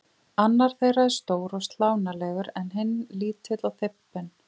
Annar þeirra er stór og slánalegur en hinn lítill og þybbinn.